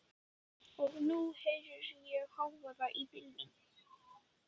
Og nú heyri ég hávaðann í bílunum.